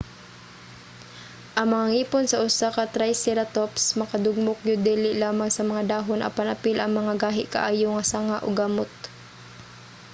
ang mga ngipon sa usa ka triceratops makadugmok gyud dili lamang sa mga dahon apan apil ang mga gahi kaayo nga sanga ug gamot